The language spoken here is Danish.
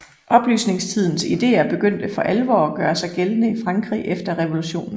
Oplysningstidens ideer begyndte for alvor at gøre sig gældende i Frankrig efter revolutionen